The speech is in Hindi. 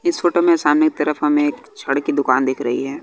इस फोटो में सामने की तरफ हमे एक छड़ की दुकान दिख रही है।